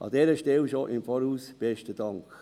An dieser Stelle schon im Voraus besten Dank.